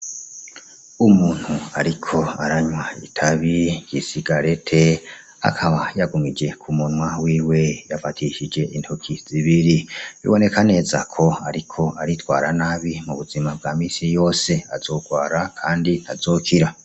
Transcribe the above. Umuntu ariko aranywa itabi ry'isigareti akaba yagumije kumunwa wiwe yafatishije intoki zibiri; bibonekanezako ariko aritwara nabi mubuzima bwamisi yose azogwara kandi ntazokira.